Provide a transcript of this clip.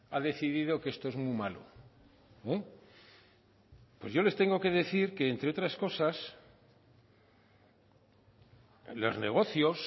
ha decidido que esto es muy malo pues yo les tengo que decir que entre otras cosas en los negocios